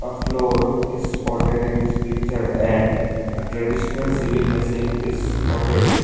Floor is spotted in this picture and PAUSEa traditional sewing machine is spotted.